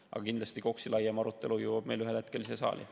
Aga kindlasti, KOKS‑i laiem arutelu jõuab ühel hetkel siia saali.